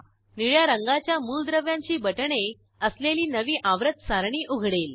निळ्या रंगाच्या मूलद्रव्यांची बटणे असलेली नवी आवर्त सारणी उघडेल